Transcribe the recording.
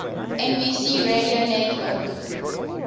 nbc radio network